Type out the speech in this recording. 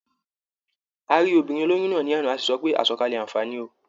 A rí obìnrin olóyún náà ní àná, a sì sọ pé "àsọ̀kalẹ̀ àǹfààní o".